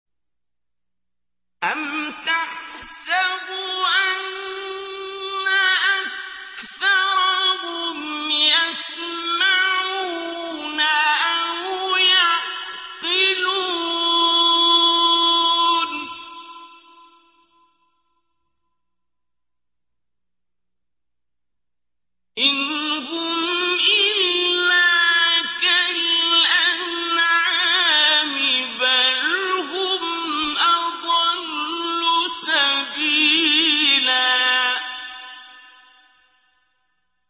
أَمْ تَحْسَبُ أَنَّ أَكْثَرَهُمْ يَسْمَعُونَ أَوْ يَعْقِلُونَ ۚ إِنْ هُمْ إِلَّا كَالْأَنْعَامِ ۖ بَلْ هُمْ أَضَلُّ سَبِيلًا